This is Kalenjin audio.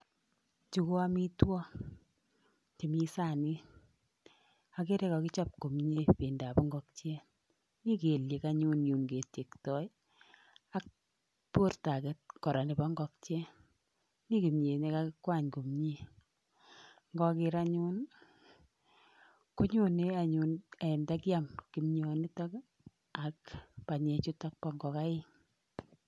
Chu ko amitwok chemii saanit agere kagichop komnyee pendo ab ngokiet mi kelyek anyun yun ketyektoi ak porto age koraa nepo ngokiet mi kimnyet ne kagikwany komnyee ngager anyun konyonee anyun "ee" ndakiam kimnyonitok ak panyek chutok pa ngogaik.